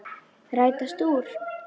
Rætast úr?